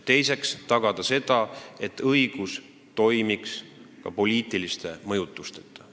Teiseks peab ta tagama, et õigussüsteem toimiks poliitiliste mõjutusteta.